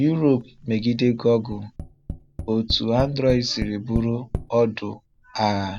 Yúróòpù megide Google: Otu Android sịrị bụrụ ọdụ̀ agha.